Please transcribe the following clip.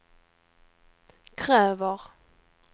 kräver